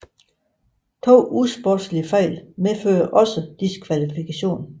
To usportslige fejl medfører også diskvalifikation